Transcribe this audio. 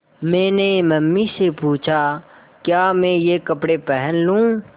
मैंने मम्मी से पूछा क्या मैं ये कपड़े पहन लूँ